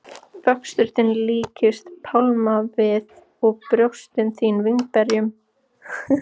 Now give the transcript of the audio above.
Vöxtur þinn líkist pálmavið og brjóst þín vínberjum.